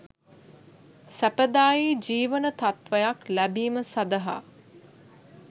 සැපදායි ජීවන තත්ත්වයක් ලැබීම සඳහා